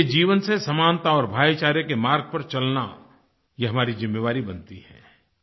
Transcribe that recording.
उनके जीवन से समानता और भाईचारे के मार्ग पर चलना यह हमारी ज़िम्मेदारी बनती है